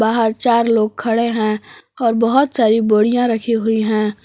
वहां चार लोग खड़े हैं और बहोत सारी बोरियां रखी हुई है।